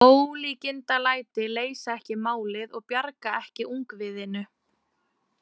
Ólíkindalæti leysa ekki málið og bjarga ekki ungviðinu.